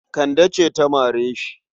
Kande ce ta mare shi.